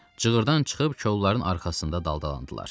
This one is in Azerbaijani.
Cığırdan çıxıb kolların arxasında daldalandılar.